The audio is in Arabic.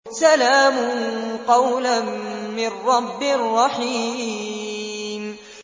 سَلَامٌ قَوْلًا مِّن رَّبٍّ رَّحِيمٍ